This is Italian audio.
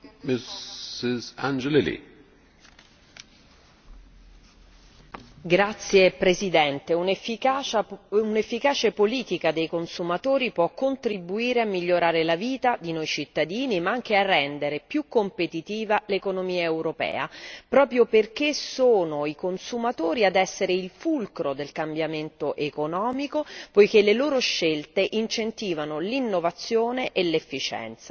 Signor Presidente, un'efficace politica dei consumatori può contribuire a migliorare la vita di noi cittadini ma anche a rendere più competitiva l'economia europea, proprio perché sono i consumatori ad essere il fulcro del cambiamento economico, poiché le loro scelte incentivano l'innovazione e l'efficienza.